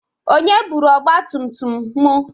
Onye bụrụ ọgba tum tum m?